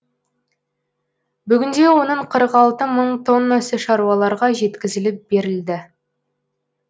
бүгінде оның қырық алты мың тоннасы шаруаларға жеткізіліп берілді